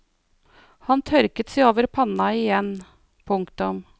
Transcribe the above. Han tørket seg over panna igjen. punktum